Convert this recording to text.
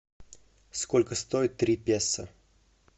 сколько стоит три песо